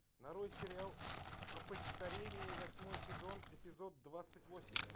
нарой сериал опочтарение восьмой сезон эпизод двадцать восемь